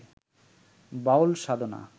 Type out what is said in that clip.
বাউল সাধনা